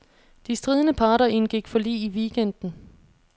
De stridende parter indgik forlig i weekenden.